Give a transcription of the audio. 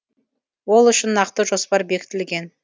ол үшін нақты жоспар бекітілген